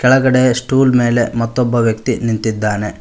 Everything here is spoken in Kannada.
ಕೆಳಗಡೆ ಸ್ಟೂಲ್ ಮೇಲೆ ಮತ್ತೊಬ್ಬ ವ್ಯಕ್ತಿ ನಿಂತಿದ್ದಾನೆ.